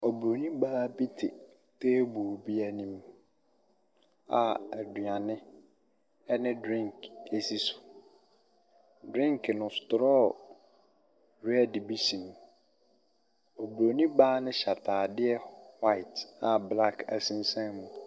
Oburoni baa bi te tabe bi anim a aduane ne drink si so. Drink no stɔɔ red bi hye mu. Oburoni baa no hyɛ ataadeɛ white a blaɔk sensan mu.